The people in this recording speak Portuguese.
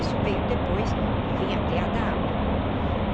Isso veio depois e vim até a dar aula.